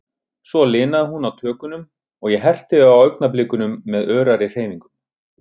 Svo linaði hún á tökunum, og ég herti á augnablikunum með örari hreyfingum.